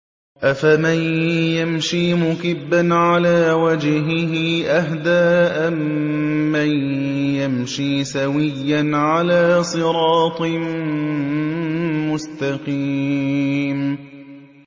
أَفَمَن يَمْشِي مُكِبًّا عَلَىٰ وَجْهِهِ أَهْدَىٰ أَمَّن يَمْشِي سَوِيًّا عَلَىٰ صِرَاطٍ مُّسْتَقِيمٍ